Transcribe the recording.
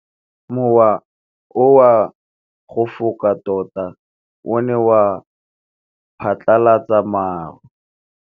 Mowa o wa go foka tota o ne wa phatlalatsa maru.